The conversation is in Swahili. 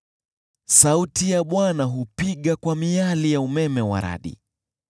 Sauti ya Bwana hupiga kwa miali ya umeme wa radi.